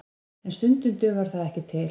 En stundum dugar það ekki til